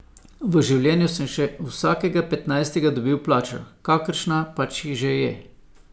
V življenju sem še vsakega petnajstega dobil plačo, kakršna pač že je.